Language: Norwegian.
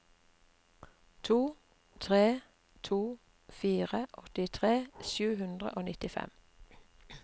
to tre to fire åttitre sju hundre og nittifem